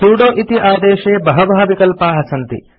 sudo इति आदेशे बहवः विकल्पाः सन्ति